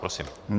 Prosím.